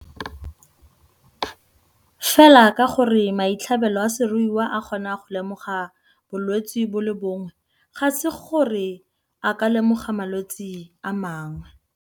Fela ka gore maitlhabelo a seruiwa a kgona go lemoga bolwetse bo le bongwe ga se gore a ka lemoga malwetse a mangwe.